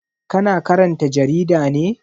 Ka na karanta jarida ne?